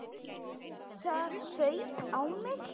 Það fauk í mig.